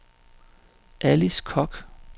Alice Kock